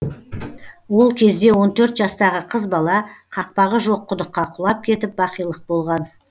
ол кезде он төрт жастағы қыз бала қақпағы жоқ құдыққа құлап кетіп бақилық болған